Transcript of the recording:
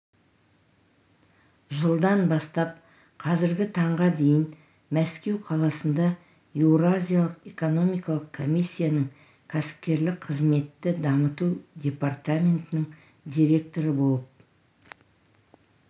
жылдан бастап қазіргі таңға дейін мәскеу қаласында еуразиялық экономикалық комиссияның кәсіпкерлік қызметті дамыту департаментінің директоры болып